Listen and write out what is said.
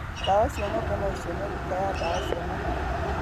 Ndawa cia ng'ombe no ũcione nduka ya ndawa cia mahiũ.